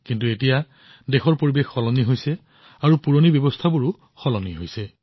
কিন্তু এতিয়া দেশ সলনি হৈছে পুৰণি প্ৰণালীবোৰো সলনি হৈছে